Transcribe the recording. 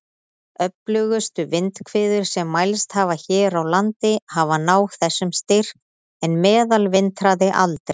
Öflugustu vindhviður sem mælst hafa hér á landi hafa náð þessum styrk, en meðalvindhraði aldrei.